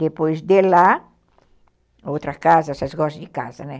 Depois de lá, outra casa, vocês gostam de casa, né?